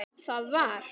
Það var.